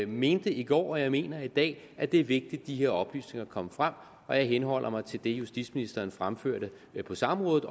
mente i går og jeg mener i dag at det er vigtigt at de her oplysninger kommer frem og jeg henholder mig til det justitsministeren fremførte på samrådet